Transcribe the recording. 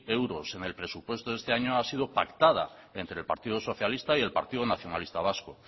euros en el presupuesto de este año ha sido pactada entre el partido socialista y el partido nacionalista vasco